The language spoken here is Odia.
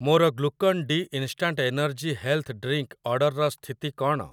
ମୋର Glucon D instant energy health drink ଅର୍ଡ଼ର୍‌‌ର ସ୍ଥିତି କ'ଣ?